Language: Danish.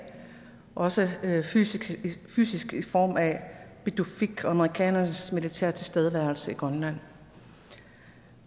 også fysisk fysisk i form af pituffik amerikanernes militære tilstedeværelse i grønland